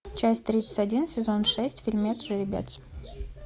часть тридцать один сезон шесть фильмец жеребец